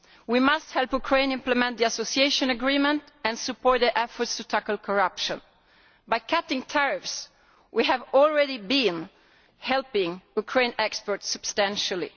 We must help Ukraine implement the Association Agreement and support their efforts to tackle corruption. By cutting tariffs we have already been helping Ukrainian exports substantially.